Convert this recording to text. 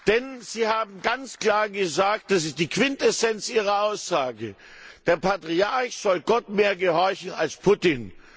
Denn sie haben ganz klar gesagt das ist die Quintessenz ihrer Aussage Der Patriarch soll Gott mehr gehorchen als Putin.